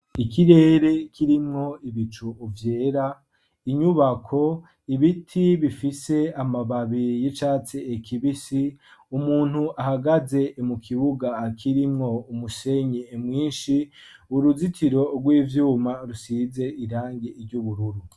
Ikirere kirimwo ibicu vyera , inyubako ibiti bifise amababi y'icatsi kibisi umuntu ahagaze mu kibuga kirimwo umusenyi mwinshi, uruzitiro rw'ivyuma rusize irangi ry'ubururu.